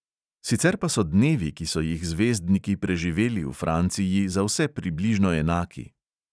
Sicer pa so dnevi, ki so jih zvezdniki preživeli v franciji, za vse približno enaki.